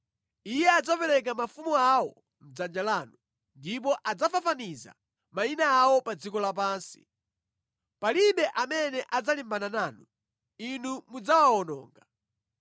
Iye adzapereka mafumu awo mʼdzanja lanu, ndipo adzafafaniza mayina awo pa dziko lapansi. Palibe amene adzalimbana nanu, inu mudzawawononga.